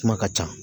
Kuma ka ca